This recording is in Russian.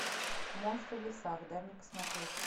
монстры в лесах дай мне посмотреть